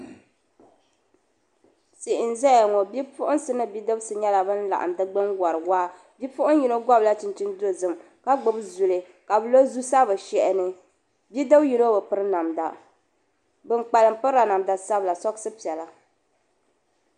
Tihi n zaya ŋɔ bidisi mini bipuhiŋsi nyela ban be di gbuni wari waa bipuhiŋ yino gobila chinchini piɛlli ka gbubi zuli ka bi lo zusa bɛ shɛhi ni bidib yino bi piri namda bin kpamlim pirila namda sabila sɔɣusi piɛla.